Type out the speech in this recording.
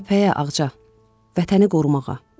Cəbhəyə Ağca, vətəni qorumağa.